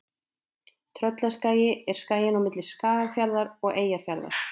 Tröllaskagi er skaginn á milli Skagafjarðar og Eyjafjarðar.